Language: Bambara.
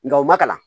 Nga u ma kalan